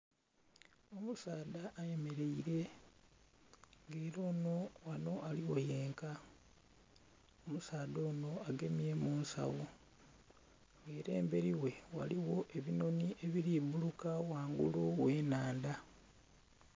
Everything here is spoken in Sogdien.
Omusaadha ayemereire nga era ono ghano aligho yenka, omusaadha ono agemye munsawo era emberi ghe ghaligho ebinhonhi ebiri bbuluka ghangulu gh'enhandha.